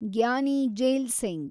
Giani Zail Singh